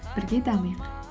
бірге дамиық